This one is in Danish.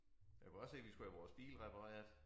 Jeg kunne også se vi skulle have vores bil repareret